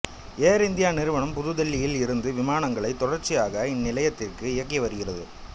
ஏர் India நிறுவனம் புதுதில்லியில் இருந்து விமானங்களை தொடர்ச்சியாக இந்நிலையத்திற்கு இயக்கிவருகிறது